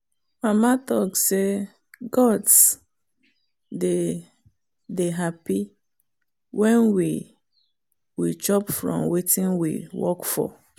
mama talk say gods dey dey happy when we we chop from wetin we work for.